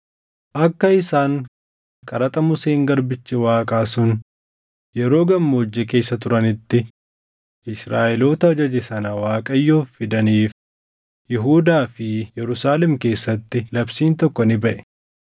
Akka isaan qaraxa Museen garbichi Waaqaa sun yeroo gammoojjii keessa turanitti Israaʼeloota ajaje sana Waaqayyoof fidaniif Yihuudaa fi Yerusaalem keessatti labsiin tokko ni baʼe.